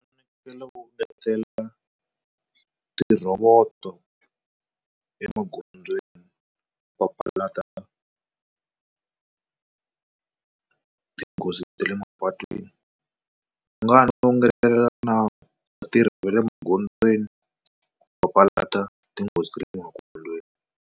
U fanekele ku ngetela ti rhovoto emagondzweni papalata tinghozi ta le mapatwini va nga ho ngetelela na vatirhi va le magondzweni ku papalata tinghozi ta le magondzweni.